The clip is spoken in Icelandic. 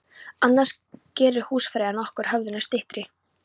Annars gerir húsfreyjan okkur höfðinu styttri.